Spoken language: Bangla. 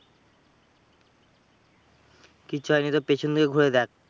কিচ্ছু হয়নি, তোর পিছন দিয়ে ঘুরে দেখ।